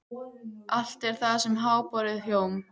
Allt er það sem háborið hjóm.